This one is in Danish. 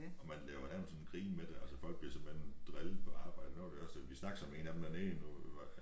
Og man laver nærmest sådan grin med det altså folk bliver simpelthen drillet på arbejde nu var det også vi snakkede så med en af dem dernede nu